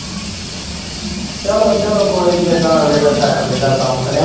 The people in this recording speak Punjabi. ਚੱਲੋ-ਚੱਲੋ ਕੋਈ ਨੀ ਜਿੱਦਾਂ ਅਗਲੇ ਦਾ ਸੈੱਟ ਬੈਦਾ ਕੰਮ ਕ ਨਈ।